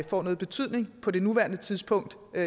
får nogen betydning på nuværende tidspunkt